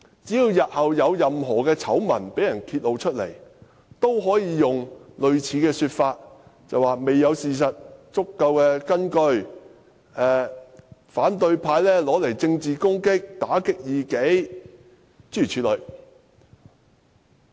只要日後有任何醜聞被揭露，也可用類似說辭作辯解，說甚麼未有足夠事實根據，反對派便將之用作政治工具，打擊異己，諸如此類。